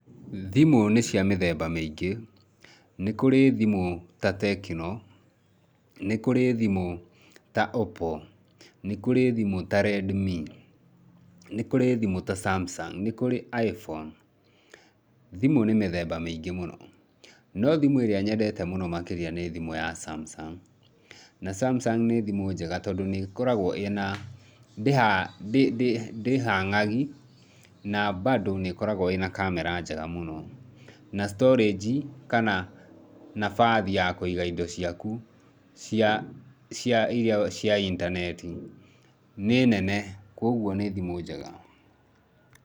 Thimũ nĩ cia mĩthemba mĩingĩ, nĩ kũri thimũ ta TECNO, nĩ kũri thimũ ta OPPO, nĩ kũri thimũ ta Redmi, nĩ kũri thimũ ta SAMSUNG, nĩ kũri iPhone. Thimũ nĩ mĩthemba mĩingĩ mũno, no thimũ ĩrĩa nyendete mũno makĩria nĩ thimũ ya SAMSUNG. Na SAMSUNG nĩ thimũ njega tondũ nĩ ĩkoragwo ĩna, ndĩ hang'agi, na bandũ nĩ ĩkoragwo ĩna kamera njega mũno, na storage kana nabathi ya kũiga indo ciaku cia, cia iria cia intaneti nĩ nene kwoguo nĩ thimũ njega.